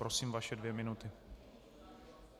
Prosím, vaše dvě minuty.